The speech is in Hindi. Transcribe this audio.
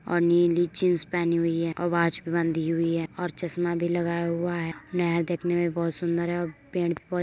और नीली जींस पहनी हुई है और वॉच भी बंधी हुई है और चश्मा भी लगाया हुआ है। नहर देखने में बोहोत सुंदर है और पेन्ट भी बहोत --